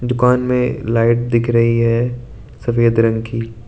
दुकान में लाइट दिख रही है सफेद रंग की।